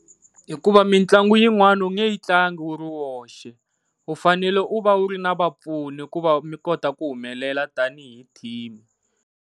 Hikuva mitlangu yin'wani a wu nge yi tlangi u ri wexe u fanele u va u ri na vapfuni ku va mi kota ku humelela tanihi team.